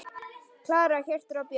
Klara, Hjörtur og börn.